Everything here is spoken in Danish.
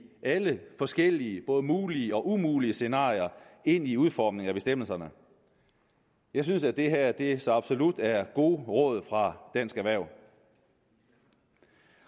alle forskellige både mulige og umulige scenarier ind i udformningen af bestemmelserne jeg synes at det her det her så absolut er gode råd fra dansk erhverv